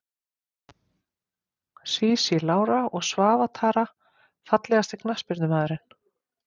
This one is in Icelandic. Sísí Lára og Svava Tara Fallegasti knattspyrnumaðurinn?